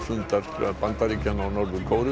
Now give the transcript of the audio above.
fundar leiðtoga Bandaríkjanna og Norður Kóreu